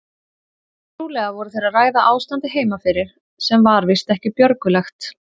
Trúlega voru þeir að ræða ástandið heima fyrir sem var víst ekki björgulegt.